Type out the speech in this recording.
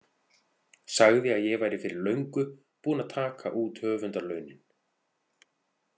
Sagði að ég væri fyrir löngu búin að taka út höfundarlaunin.